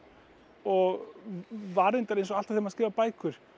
og var reyndar eins og alltaf maður skrifar bækur